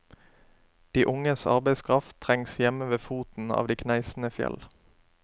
De unges arbeidskraft trengs hjemme ved foten av de kneisende fjell.